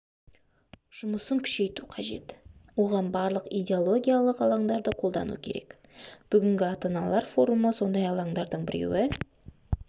жұмысын күшейту қажет оған барлық идеологиялық алаңдарды қолдану керек бүгінгі ата-аналар форумы сондай алаңдардың біреуі